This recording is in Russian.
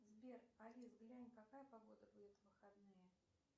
сбер алис глянь какая погода будет в выходные